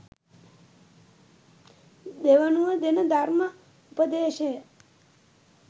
දෙවනුව දෙන ධර්ම උපදේශය